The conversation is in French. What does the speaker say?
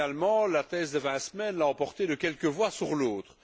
Finalement, la thèse des vingt semaines l'a emporté de quelques voix sur l'autre.